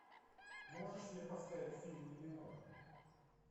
можешь мне поставить фильм мимино